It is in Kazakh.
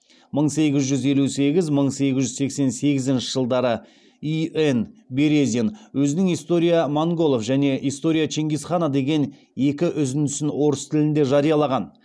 мың сегіз жүз елу сегіз мың сегіз жүз сексен сегізінші жылдары и н березин өзінің история монголов және история чингис хана деген екі үзіндісін орыс тілінде жариялаған